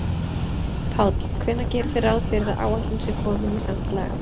Páll: Hvenær gerið þið ráð fyrir að áætlun sé komin í samt lag?